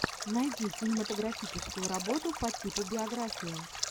найди кинематографическую работу по типу биографии